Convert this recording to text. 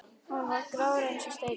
Hann var grár eins og steinn.